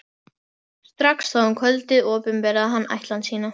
Strax þá um kvöldið opinberaði hann ætlan sína.